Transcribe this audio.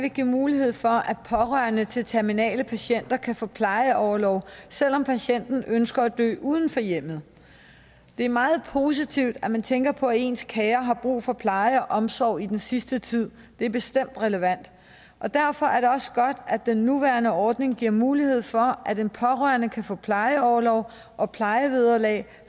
vil give mulighed for at pårørende til terminale patienter kan få plejeorlov selv om patienten ønsker at dø uden for hjemmet det er meget positivt at man tænker på at ens kære har brug for pleje og omsorg i den sidste tid det er bestemt relevant derfor er det også godt at den nuværende ordning giver mulighed for at en pårørende kan få plejeorlov og plejevederlag